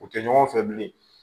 U tɛ ɲɔgɔn fɛ bilen